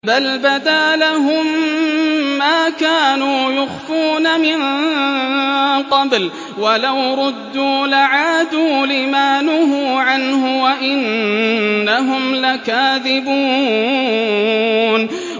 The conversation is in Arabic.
بَلْ بَدَا لَهُم مَّا كَانُوا يُخْفُونَ مِن قَبْلُ ۖ وَلَوْ رُدُّوا لَعَادُوا لِمَا نُهُوا عَنْهُ وَإِنَّهُمْ لَكَاذِبُونَ